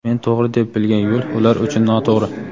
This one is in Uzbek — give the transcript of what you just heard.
Men tog‘ri deb bilgan yo‘l ular uchun noto‘g‘ri.